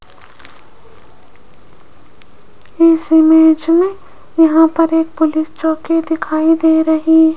इस इमेज में यहां पर एक पुलिस चौकी दिखाई दे रही --